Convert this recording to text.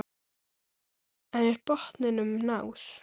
En er botninum náð?